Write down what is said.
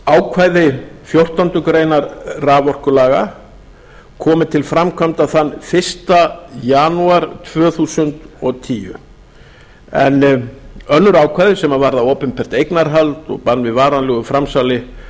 ákvæði fjórtándu greinar raforkulaga komi til framkvæmda þann fyrsta janúar tvö þúsund og tíu en önnur ákvæði sem varða opinbert eignarhald og bann við varanlegu framsali